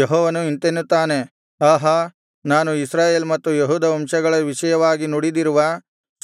ಯೆಹೋವನು ಇಂತೆನ್ನುತ್ತಾನೆ ಆಹಾ ನಾನು ಇಸ್ರಾಯೇಲ್ ಮತ್ತು ಯೆಹೂದ ವಂಶಗಳ ವಿಷಯವಾಗಿ ನುಡಿದಿರುವ